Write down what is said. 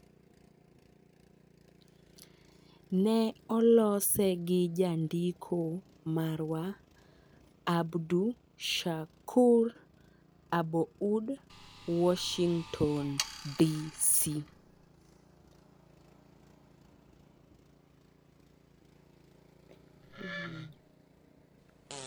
Ne olose gi Jandiko marwa, Abdushakur Aboud, Washington, DC.